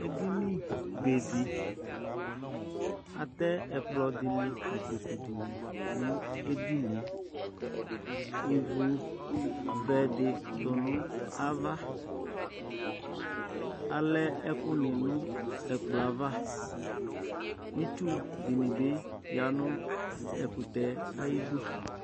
Edini bedi Atɛ ɛkplɔ dini , nikpoku dini nʋ edinieIvu vɛ di tu nʋ avaAlɛ ɛkʋ ni nʋ ɛkplɔɛ'avaItsu dini bi yanʋ ɛkutɛɛ ayidu